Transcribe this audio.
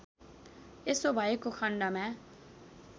यसो भएको खण्डमा